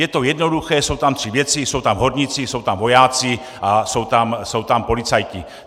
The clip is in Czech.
Je to jednoduché, jsou tam tři věci, jsou tam horníci, jsou tam vojáci a jsou tam policajti.